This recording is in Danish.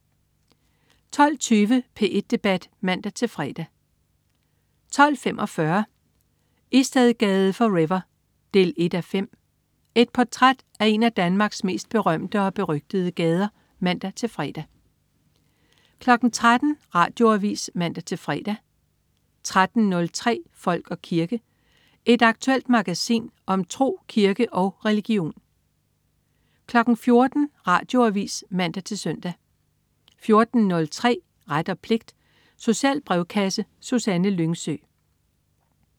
12.20 P1 Debat (man-fre) 12.45 Istedgade forever 1:5. Et portræt af en af Danmarks mest berømte og berygtede gader (man-fre) 13.00 Radioavis (man-fre) 13.03 Folk og kirke. Et aktuelt magasin om tro, kirke og religion 14.00 Radioavis (man-søn) 14.03 Ret og pligt. Social brevkasse. Susanne Lyngsø